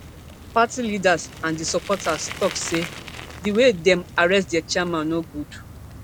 party leaders and di supporters tok say di way dem arrest dia chairman no good